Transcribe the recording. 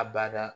A bada